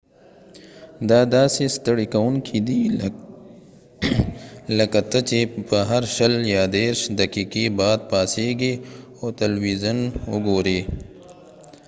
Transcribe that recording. دا داسې ستړی کوونکی دی لکه ته چې به هر شل یا دیرش دقیقې بعد پاسیږي او تلویزون وګورې